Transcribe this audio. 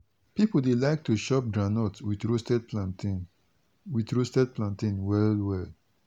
people dey like to chop groundnut with roasted plantain with roasted plantain well well.